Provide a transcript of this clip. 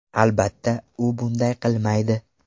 Albatta, u bunday qilmaydi.